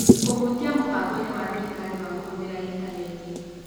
Kũhĩtia Mũbangoinĩ wa Thirikari wa Kũhũthĩra Intaneti